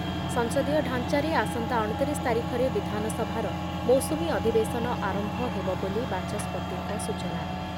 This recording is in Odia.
ସଂସଦୀୟ ଢାଞ୍ଚାରେ ଆସନ୍ତା ଅଣତିରିଶ ତାରିଖରେ ବିଧାନସଭାର ମୌସୁମୀ ଅଧୂବେଶନ ଆରମ୍ଭ ହେବ ବୋଲି ବାଚସ୍ପତିଙ୍କ ସୂଚନା